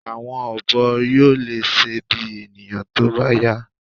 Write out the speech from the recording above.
̀Àwọn ọ̀bọ yóò lè ṣe bí ènìyàn tó bá yá